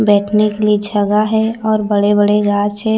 बैठने के लिए जगह है और बड़े-बड़े गाछ है।